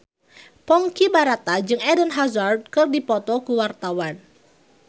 Ponky Brata jeung Eden Hazard keur dipoto ku wartawan